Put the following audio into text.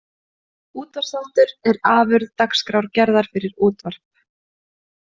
Útvarpsþáttur er afurð dagskrárgerðar fyrir útvarp.